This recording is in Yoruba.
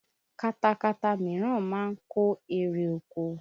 Katakata míràn ma ń kó erè oko